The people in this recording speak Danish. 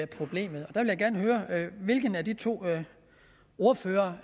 problemet jeg vil gerne høre hvilken af de to ordførere